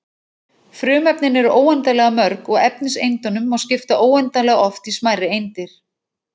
Frumefnin eru óendanlega mörg og efniseindunum má skipta óendanlega oft í smærri eindir.